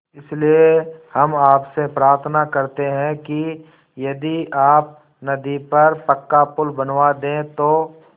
इसलिए हम आपसे प्रार्थना करते हैं कि यदि आप नदी पर पक्का पुल बनवा दे तो